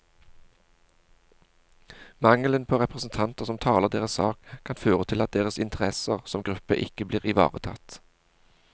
Mangelen på representanter som taler deres sak, kan føre til at deres interesser som gruppe ikke blir ivaretatt.